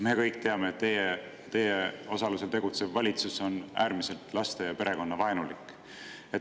Me kõik teame, et teie osalusel tegutsev valitsus on äärmiselt laste- ja perekonnavaenulik.